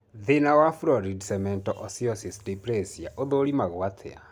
Thĩna wa florid cemento osseous dysplasia ũthũrimagwo atĩa?